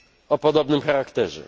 o podobnym charakterze.